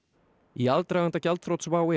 í aðdraganda gjaldþrots WOW